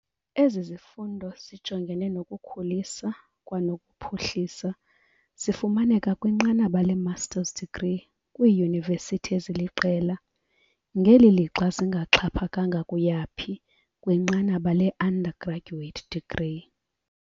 Ezi zifundo zijongene nokukhulisa kwanokuphuhlisa zifumaneka kwinqanaba le-Master's degree kwiiyunivethi eziliqela, ngeli lixa zingaxhaphakanga kuyaphi kwinqanaba le-undergraduate degree.